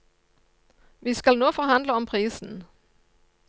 Vi skal nå forhandle om prisen.